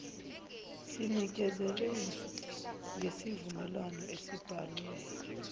sinikezele ngesivumelo esibhalwe